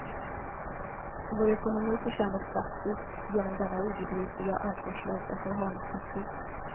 Vår ekonomi försämras drastiskt genom denna obegripliga och ansvarslösa förhalningstaktik.